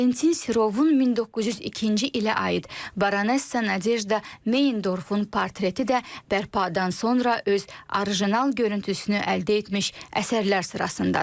Valentin Sirovun 1902-ci ilə aid Baronesa Nadejda Meyendorfun portreti də bərpadan sonra öz orijinal görüntüsünü əldə etmiş əsərlər sırasındadır.